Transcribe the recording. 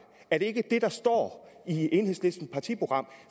er det ikke det der står i enhedslistens partiprogram